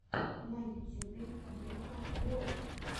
на ютюбе блико влог